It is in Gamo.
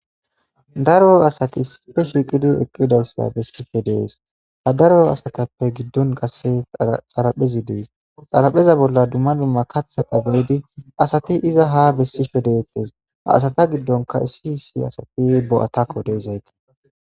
Daro asati issipe shiqida soho bisishe de'es ha daro asatape gidon qase xaraphezi des xarapheza bola dumma dumma asati ha iza besishe detes asata gidonka issi issi asati bo'atako de'izay